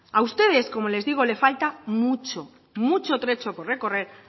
a ustedes como les digo le falta mucho mucho trecho por recorrer